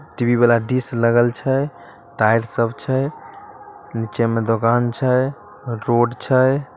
TV वाला dish लगल छै ताइर सब छै नीचे में दोकान छै रोड छै।